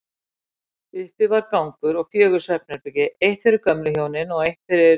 Uppi var gangur og fjögur svefnherbergi, eitt fyrir gömlu hjónin, eitt fyrir